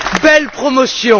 Belle promotion!